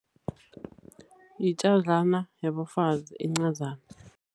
Yitjadlana yabafazi encazana.